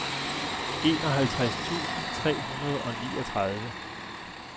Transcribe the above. enoghalvtreds tusind tre hundrede og niogtredive